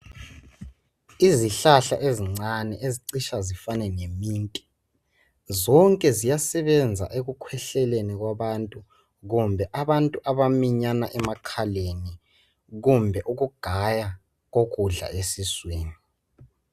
Izihlahla ezincane ezicitsha zifane leminti zonke ziyasebenza ekukhwehleleni kwabantu kumbe abantu abaminyana emakhaleni kumbe ukugaya ukudla esiswini.